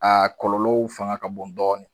Aa kɔlɔlɔw fanga ka bon dɔɔni